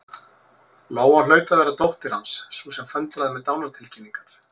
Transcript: Lóa hlaut að vera dóttir Hans, sú sem föndraði með dánartilkynningar.